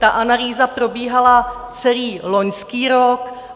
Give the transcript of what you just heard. Ta analýza probíhala celý loňský rok.